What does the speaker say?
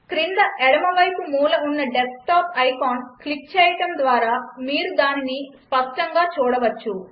క్రింద ఎడమవైపు మూల ఉన్న డెస్క్టాప్ ఐకాన్ క్లిక్ చేయడం ద్వారా మీరు దానిని స్పష్టంగా చూడవచ్చు